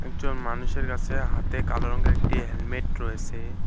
একজন মানুষের কাসে হাতে কালো রংগের একটি হেলমেট রয়েসে।